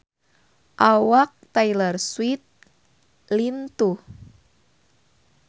Awak Taylor Swift lintuh